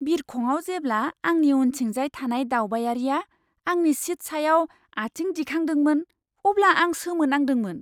बिरखंआव जेब्ला आंनि उनथिंजाय थानाय दावबायारिया आंनि सिट सायाव आथिं दिखांदोंमोन, अब्ला आं सोमोनांदोंमोन!